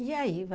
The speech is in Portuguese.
E aí?